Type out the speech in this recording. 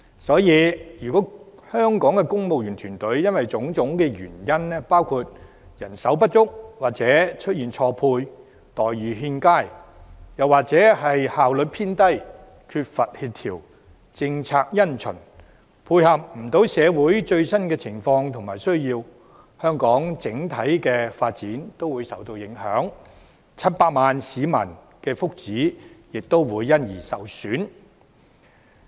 所以，如果香港的公務員團隊因為種種原因包括人手不足或錯配、待遇欠佳，又或是效率偏低、缺乏協調、政策因循等，而無法配合社會最新的情況和需要，香港整體發展均會受到影響 ，700 萬名市民的福祉亦會受損。